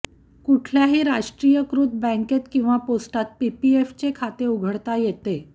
कुठल्याही राष्ट्रीयीकृत बँकेत किंवा पोस्टात पीपीएफचे खातं उघडता येतं